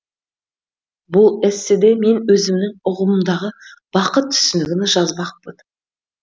бұл эсседе мен өзімнің ұғымымдағы бақыт түсінігін жазбақпын